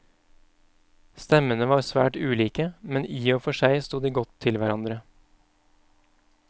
Stemmene var svært ulike, men i og for seg sto de godt til hverandre.